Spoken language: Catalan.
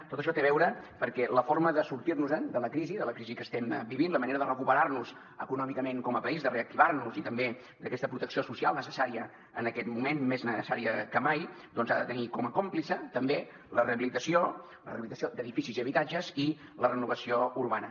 tot això hi té a veure perquè la forma de sortir nos en de la crisi de la crisi que estem vivint la manera de recuperar nos econòmicament com a país de reactivar nos i també d’aquesta protecció social necessària en aquest moment més necessària que mai doncs ha de tenir com a còmplice també la rehabilitació la rehabilitació d’edificis i habitatges i la renovació urbana